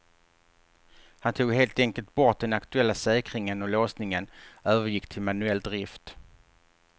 Han tog helt enkelt bort den aktuella säkringen och låsningen övergick till manuell drift.